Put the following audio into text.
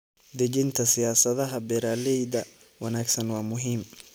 Dejinta siyaasadaha beeralayda wanaagsan waa muhiim.